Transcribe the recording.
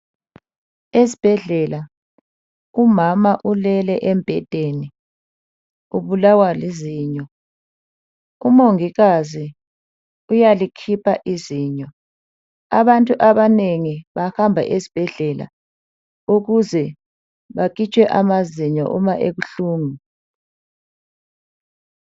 Esbhedlela umama ulele embhedeni ubulawa lizinyo, umongikazi uyalikhipha izinyo. Abantu abanengi bahamba esbhedlela ukuze bakhitshwe amazinyo uma ebuhlungu.